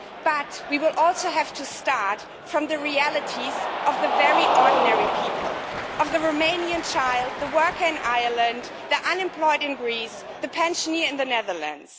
But we will also have to start with the reality of the very ordinary people of the Romanian child, the worker in Ireland, the unemployed in Greece, the pensioner in the Netherlands.